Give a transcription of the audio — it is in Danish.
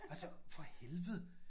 Altså for helvede